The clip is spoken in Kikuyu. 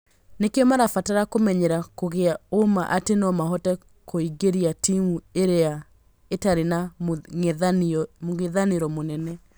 Nĩkĩo marabata kũmenyera kũgĩa ũũma atĩ nomahote kuingĩria timũ iria itarĩ na mũng'ethanĩro mũnene